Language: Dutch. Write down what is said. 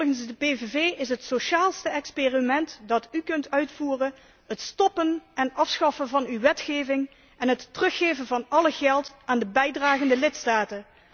Volgens de PVV is het sociaalste experiment dat u kunt uitvoeren het stoppen en afschaffen van uw wetgeving en het teruggeven van alle geld aan de bijdragende lidstaten.